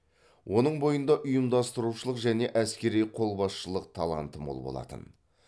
оның бойында ұйымдастырушылық және әскери қолбасшылық таланты мол болатын